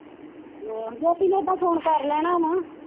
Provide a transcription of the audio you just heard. ਜੋਤਿ ਨੇ ਤਾ ਫੋਨ ਕਰ ਲੈਣਾ ਨਾ।